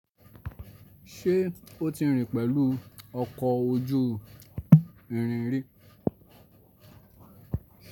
Ṣé ó ti rìn pẹ̀lú ọkọ̀ ojú irin rí?